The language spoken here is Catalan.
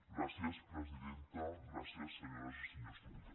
gràcies presidenta gràcies senyores i senyors diputats